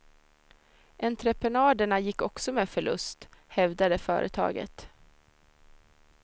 Entreprenaderna gick också med förlust, hävdade företaget.